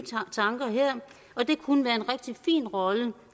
tanker her og det kunne være en rigtig fin rolle